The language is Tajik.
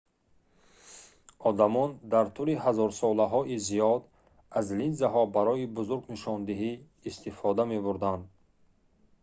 одамон дар тӯли ҳазорсолаҳои зиёд аз линзаҳо барои бузург нишондиҳӣ истифода мебурданд